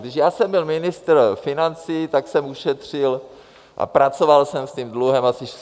Když já jsem byl ministr financí, tak jsem ušetřil a pracoval jsem s tím dluhem asi 17 miliard.